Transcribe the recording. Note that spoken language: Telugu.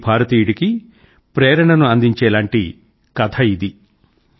ప్రతి భారతీయుడికీ ప్రేరణను అందించేలాంటి కథ ఇది